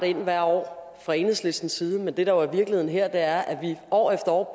ind hvert år fra enhedslistens side men det der jo er virkeligheden her er at vi år efter år